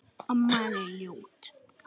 Nutum við góðs af því.